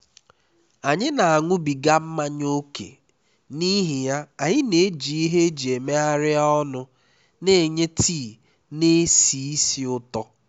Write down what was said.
anyị na-aṅụbiga mmanya ókè n'ihi ya anyị na-eji ihe eji megharịa ọnụ na-enye tii na-esi ísì ụtọ